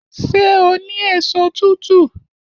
Ṣé o ní èso tútù?